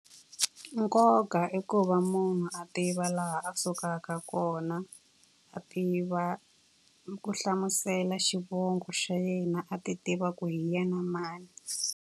Nkoka i ku va munhu a tiva laha a suka ka, kona a tiva ku hlamusela xivongo xa yena, a ti tiva ku hi ya na mani.